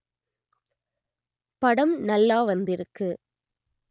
படம் நல்லா வந்திருக்கு